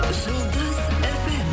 жұлдыз фм